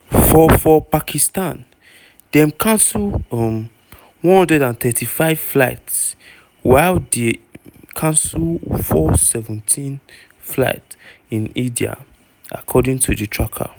for for pakistan dem cancel um 135 flights while dem cancel 417 flights in india according to di tracker.